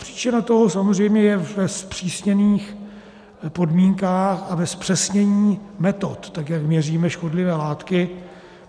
Příčina toho samozřejmě je ve zpřísněných podmínkách a ve zpřesnění metod, tak jak měříme škodlivé látky.